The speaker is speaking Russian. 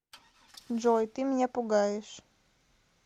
джой ты меня пугаешь